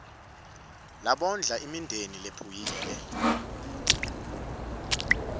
labondla imindeni lephuyile